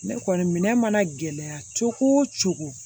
Ne kɔni minɛ mana gɛlɛya cogo o cogo